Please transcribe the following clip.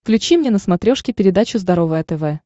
включи мне на смотрешке передачу здоровое тв